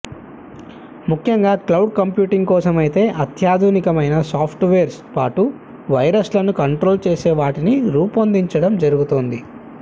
ముఖ్యంగా cloud computing కోసం ఐతే అత్యాధునికమైన సాప్ట్ వేర్స్తో పాటు వైరస్లను కంట్రోల్ చేసేవాటిని రూపోందించడం జరుగుతుంది